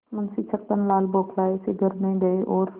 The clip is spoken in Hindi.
मुंशी छक्कनलाल बौखलाये से घर में गये और